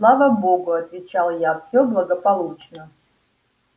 слава богу отвечал я всё благополучно